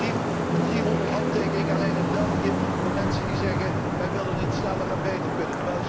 Ik heb hier een brief met 300 handtekeningen alleen uit België van mensen die zeggen wij willen dat het sneller en beter kan.